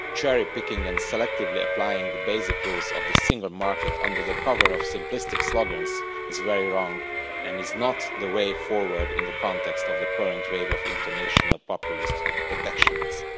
Cherry picking and selectively applying the basic rules of the single market under the cover of simplistic slogans is very wrong and is not the way forward in the context of the current wave of international populist protectionism.